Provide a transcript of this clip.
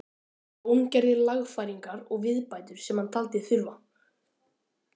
Jón gerði lagfæringar og viðbætur sem hann taldi þurfa.